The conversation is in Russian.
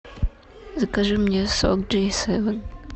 закажи мне сок джей севен